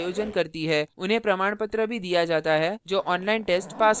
उन्हें प्रमाणपत्र भी दिया जाता है जो online test pass करते हैं